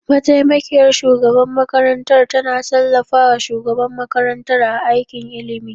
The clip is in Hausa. Mataimakiyar shugaban makarantar tana tallafa wa shugaban makarantar a aikin ilimi.